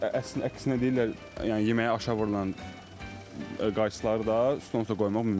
Əslində əksinə deyirlər, yəni yeməyə aşə vurulan qaysıları da stol üstə qoymaq mümkündür.